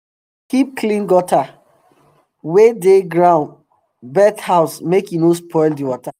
we dey keep clean gutter um wey um dey around bird house make e no spoil the water